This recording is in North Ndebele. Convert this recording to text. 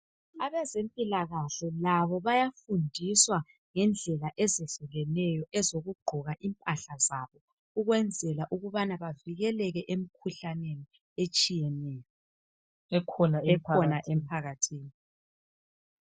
Abezempilakahle labo bayafundiswa ngendlela ezehlukeneyo, ezokugqoka impahla zabo. Ukwenzela ukuba bavikeleke emikhuhlaneni, etshiyeneyo. Ekhona emphakathini.